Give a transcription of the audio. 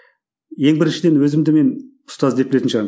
ең біріншіден өзімді мен ұстаз деп білетін шығармын